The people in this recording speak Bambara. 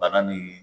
Bana ni